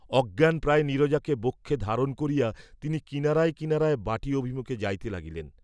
অজ্ঞানপ্রায় নীরজাকে বক্ষে ধারণ করিয়া তিনি কিনারায় কিনারায় বাটী অভিমুখে যাইতে লাগিলেন।